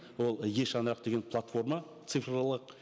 ол е шаңырақ деген платформа цифрлық